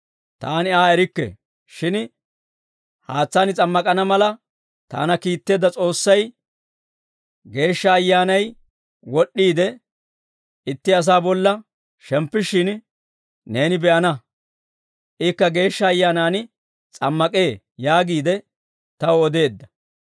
Taani Aa erikke; shin haatsaani s'ammak'ana mala taana kiitteedda S'oossay, ‹Geeshsha Ayyaanay wod'iide, itti asaa bolla shemppishshin, neeni be'ana; ikka Geeshsha Ayyaanaan s'ammak'ee› yaagiide taw odeedda.